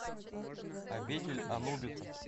обитель анубиса